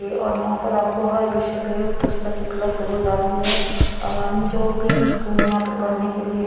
ये और यहा पे आपको हर विषय पे पुस्तक उपलभ हो जाती है यानी जो भी स्कूल यापे पड़ने के लिए--